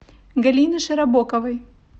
галины широбоковой